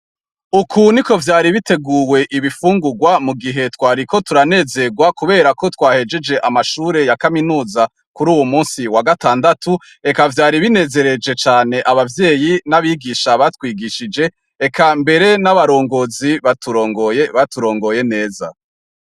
Uku niko vyari biteguwe ibifungurwa mu gihe twariko turanezerwa kuberako twahejeje amashure ya kaminuza kuri uyu musi wa gatandatu, eka vyari binezereje cane, abavyeyi n'abigisha batwigishije, eka mbere n'abarongozi baturongoye, baturongoye neza.